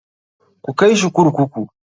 KU kai shi kurkuku!